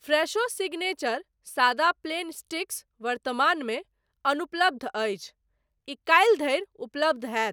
Fresho signature सादा plain sticks वर्तमानमे अनुपलब्ध अछि, ई काल्हि धरि उपलब्ध होयत।